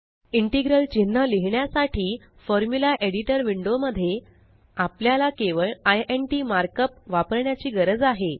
integral चिन्ह लिहिण्यासाठी formula editor window मध्ये आपल्याला केवळ इंट मार्कअप वापरण्याची गरज आहे